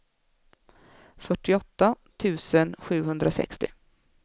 fyrtioåtta tusen sjuhundrasextio